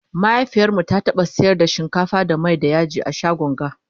mahaifiyarmu ta taɓa sayar da shinkafa da Mai da yaji a shagon ga